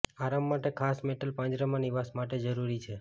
આરામ માટે ખાસ મેટલ પાંજરામાં નિવાસ માટે જરૂરી છે